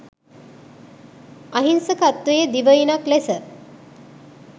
අහිංසකත්වයේ දිවයිනක් ලෙස